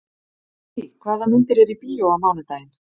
Kittý, hvaða myndir eru í bíó á mánudaginn?